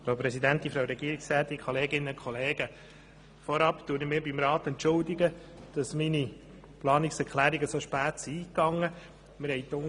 Vorab entschuldige ich mich beim Grossen Rat, dass meine Planungserklärungen so knapp eingegangen sind.